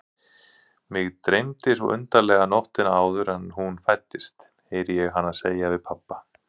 Mig dreymdi svo undarlega nóttina áður en hún fæddist, heyri ég hana segja við pabba.